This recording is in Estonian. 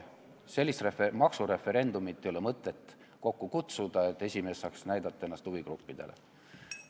Sellist maksufoorumit ei ole mõtet kokku kutsuda, et esimees saaks ennast huvigruppidele näidata.